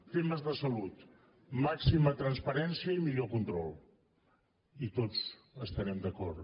temes de salut màxima transparència i millor control i tots estarem d’acord